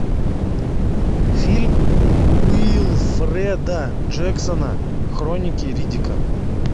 фильм уилфреда джексона хроники риддика